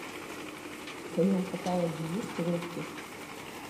в твоем каталоге есть рокки